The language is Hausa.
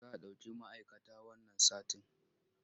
Za a ɗauki ma'aikata wannan satin.